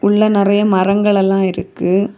உள்ள நெறைய மரங்கள் எல்லாம் இருக்கு.